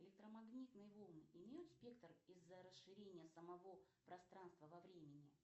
электромагнитные волны имеют спектр из за расширения самого пространства во времени